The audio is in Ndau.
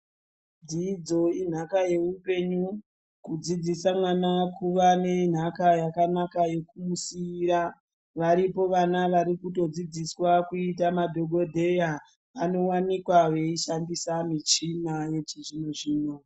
Dzidzo inhaka yeupenyu. Kudzidzisa mwana kuva nenhaka yekumusiira. Varipo vana varikutodzidziswa kuita madhokodheya varikutoshandisa michini yechizvino zvino.